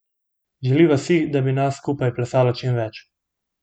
Želiva si, da bi nas skupaj plesalo čim več.